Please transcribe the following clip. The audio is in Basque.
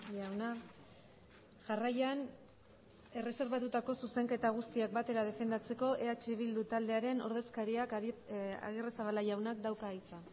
jauna jarraian erreserbatutako zuzenketa guztiak batera defendatzeko eh bildu taldearen ordezkariak agirrezabala jaunak dauka hitza